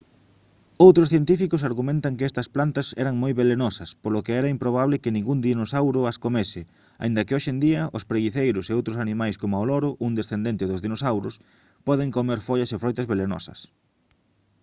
outros científicos argumentan que estas plantas eran moi velenosas polo que era improbable que ningún dinosauro as comese aínda que hoxe en día os preguiceiros e outros animais coma o loro un descendente dos dinosauros poden comer follas e froitas velenosas